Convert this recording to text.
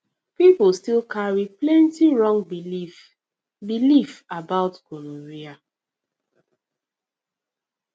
people still carry plenty wrong belief belief about gonorrhea